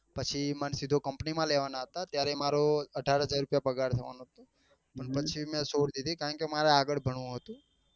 પછી મન સીધો company માં લેવા નાં હતા ત્યારે મમરો અઢાર હજાર રૂપિયા પગાર થવા નો હતો પણ પછી મેં છોડ દીધી કારણ કે મારે આગળ ભણવું હતું